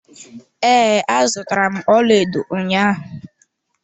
Ee, azụtara m ọlaedo ụnyaahụ.